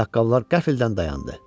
Ayaqqabılar qəflətən dayandı.